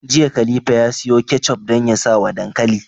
Jiya khalifa ya siyo ketchup dan ya sawa dankali